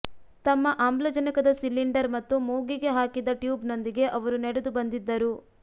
ತಮ್ಮ ಆಮ್ಲಜನಕದ ಸಿಲಿಂಡರ್ ಮತ್ತು ಮೂಗಿಗೆ ಹಾಕಿದ್ದ ಟ್ಯೂಬ್ನೊಂದಿಗೆ ಅವರು ನಡೆದು ಬಂದಿದ್ದರು